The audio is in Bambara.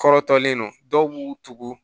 Kɔrɔtɔlen don dɔw b'u tugu